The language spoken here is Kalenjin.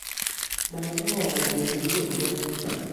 makimwowon kele kibendii ano